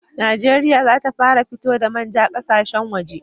Najeriya za ta fara fito da manja ƙasashen waje